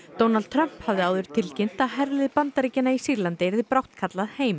Donald Trump hafði tilkynnt að herlið Bandaríkjanna í Sýrlandi yrði brátt kallað heim